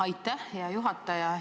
Aitäh, hea juhataja!